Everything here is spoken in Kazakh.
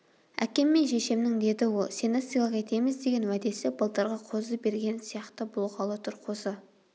әкем мен шешемнің деді ол сені сыйлық етеміз деген уәдесі былтырғы қозы бергені сияқты болғалы тұр қозы